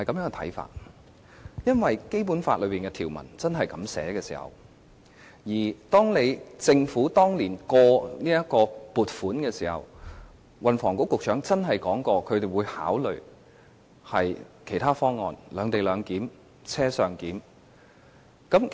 而是因為《基本法》的條文是如此訂明，而當年通過撥款時，時任運輸及房屋局局長真的說過會考慮其他方案："兩地兩檢"或"車上檢"。